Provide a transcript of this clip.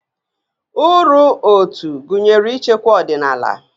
Uru ótú gụnyere ichekwa ọdịnala